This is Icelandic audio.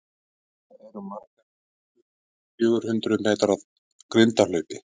Hvað eru margar grindur í fjögur hundrað metra grindahlaupi?